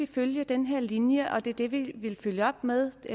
følge den her linje og at det er det man vil følge op med i